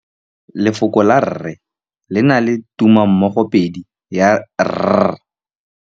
Lefoko la rre, le na le tumammogôpedi ya, r.